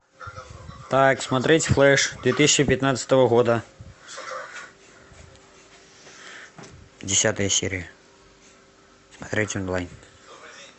так смотреть флэш две тысячи пятнадцатого года десятая серия смотреть онлайн